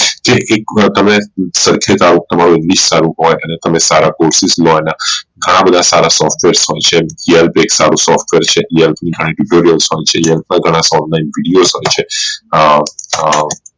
જે એક વાર તમે તંમારું english સારું હોઈ અને તમે સારા Courses લો અને ઘણા બધા સારા software હોઈ છે elb સારું software છે ઘણા online videos હોઈ છે એ એ